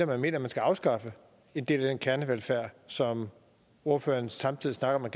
man mener man skal afskaffe en del af den kernevelfærd som ordføreren samtidig snakker man